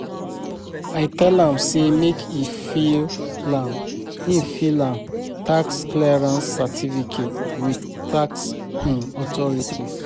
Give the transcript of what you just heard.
I tell am sey make e file im e file im tax clearance certificate with tax um authorities.